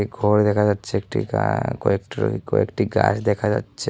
ঘর দেখা যাচ্ছে একটি গান কয়েকটরি কয়েকটি গাছ দেখা যাচ্ছে।